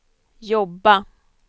jobba